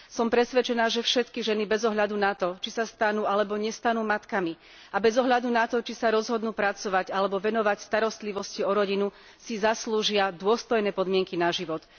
Som presvedčená, že všetky ženy bez ohľadu na to, či sa stanú alebo nestanú matkami, a bez ohľadu na to, či sa rozhodnú pracovať alebo venovať starostlivosti o rodinu, si zaslúžia dôstojné podmienky na život.